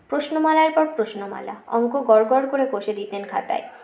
প্রশ্নমালার পর প্রশ্নমালা অঙ্ক গড় গড় করে কষে দিতেন খাতায়